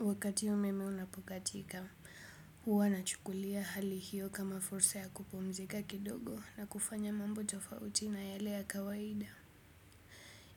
Wakati umeme umekatika, huwa nachukulia hali hiyo kama fursa ya kupumzika kidogo na kufanya mambo tofauti na yale ya kawaida.